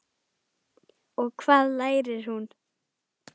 Og hvað lærir hún?